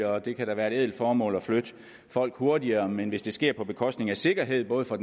og det kan da være et ædelt formål at flytte folk hurtigere men hvis det sker på bekostning af sikkerheden for